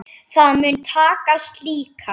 Það mun takast líka.